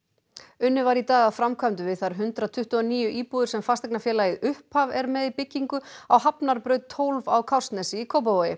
unnið var í dag að framkvæmdum við þær hundrað tuttugu og níu íbúðir sem fasteignafélagið upphaf er með í byggingu á Hafnarbraut tólf á Kársnesi í Kópavogi